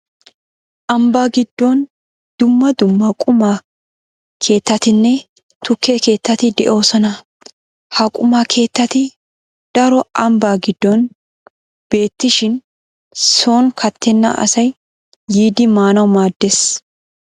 Ambbaa giddon dumma dumma quma keettatinne tukke keettati de'oosona. Ha quma keettati daro ambbaa giddon beettishin sooni kattenna asay yiidi maanawu maaddees.